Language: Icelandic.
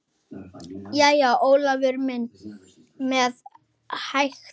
Jæja, sagði Ólafur með hægð.